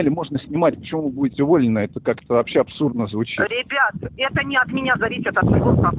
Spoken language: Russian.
можно снимать почему будет больно это как-то асурдно звучит ребят это не от меня зависит